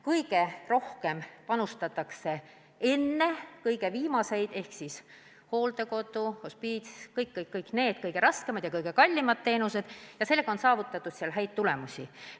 Kõige rohkem panustatakse viimastesse teenustesse – hooldekodu, hospiits, kõik need kõige raskemad ja kõige kallimad teenused – ja sellega on saavutatud häid tulemusi.